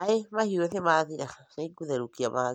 maĩ mahĩu nĩ mathira, nĩngotherukia mangĩ